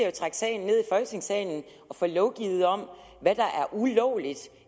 jo trække sagen ned i folketingssalen og få lovgivet om hvad der er ulovligt